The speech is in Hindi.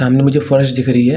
सामने मुझे फर्श दिख रही है।